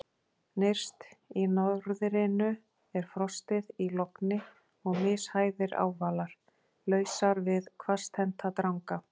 Nyrst í norðrinu er frostið í logni og mishæðir ávalar, lausar við hvasstennta dranga.